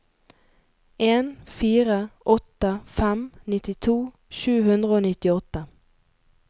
en fire åtte fem nittito sju hundre og nittiåtte